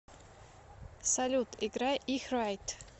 салют играй их райт